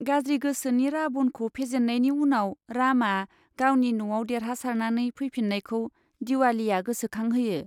गाज्रि गोसोनि राबनखौ फेजेन्नायनि उनाव रामआ गावनि न'आव देरहासारनानै फैफिन्नायखौ दिवालीया गोसोखांहोयो।